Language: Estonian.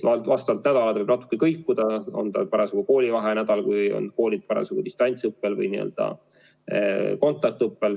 Vastavalt nädalale võib natuke kõikuda: on see parasjagu koolivaheaja nädal või nädal, kui koolid olid distantsõppel või nädal, kus oldi kontaktõppel.